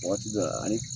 Waati dɔ la ani